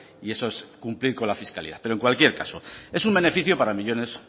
y eso es cumplir con la fiscalidad pero en cualquier caso es un beneficio para millónes